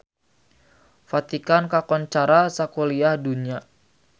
Vatikan kakoncara sakuliah dunya